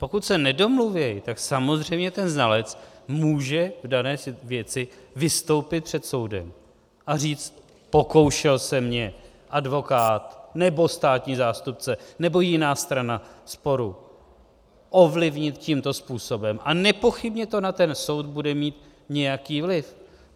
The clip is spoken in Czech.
Pokud se nedomluví, tak samozřejmě ten znalec může k dané věci vystoupit před soudem a říct "pokoušel se mě advokát nebo státní zástupce nebo jiná strana sporu ovlivnit tímto způsobem" a nepochybně to na ten soud bude mít nějaký vliv.